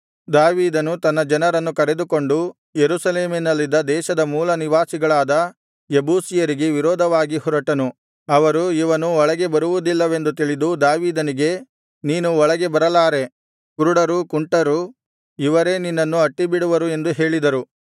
ದಾವೀದನು ತನ್ನ ಜನರನ್ನು ಕರೆದುಕೊಂಡು ಯೆರೂಸಲೇಮಿನಲ್ಲಿದ್ದ ದೇಶದ ಮೂಲನಿವಾಸಿಗಳಾದ ಯೆಬೂಸಿಯರಿಗೆ ವಿರೋಧವಾಗಿ ಹೊರಟನು ಅವರು ಇವನು ಒಳಗೆ ಬರುವುದಿಲ್ಲವೆಂದು ತಿಳಿದು ದಾವೀದನಿಗೆ ನೀನು ಒಳಗೆ ಬರಲಾರೆ ಕುರುಡರು ಕುಂಟರು ಇವರೇ ನಿನ್ನನ್ನು ಅಟ್ಟಿಬಿಡುವರು ಎಂದು ಹೇಳಿದರು